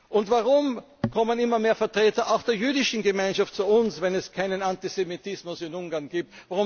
Und warum kommen immer mehr Vertreter auch der jüdischen Gemeinschaft zu uns, wenn es keinen Antisemitismus in Ungarn gibt?